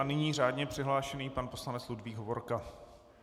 A nyní řádně přihlášený pan poslanec Ludvík Hovorka.